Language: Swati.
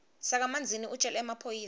sakamanzini utjele emaphoyisa